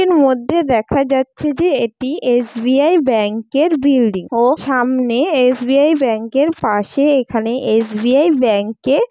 এর মধ্যে দেখা যাচ্ছে যে এটি এস. বি. আই ব্যাংকের বিল্ডিং ও সামনে এস. বি. আই ব্যাংকের পাশেএখানে এস. বি. আই ব্যাংকে--